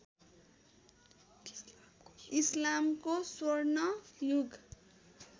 इस्लामको स्वर्ण युग